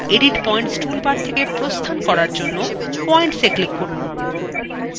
edit points toolbar থেকে প্রস্থান করার জন্য পয়েন্টস এ click করুন